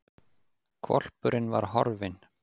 Hvolpurinn var horfinn!